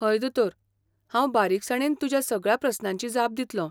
हय दोतोर! हांव बारीकसाणेन तुज्या सगळ्या प्रस्नांची जाप दितलों.